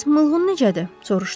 Bəs mığlın necədir?